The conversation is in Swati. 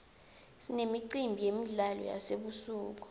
sinemicimbi yemidlalo yasebusuku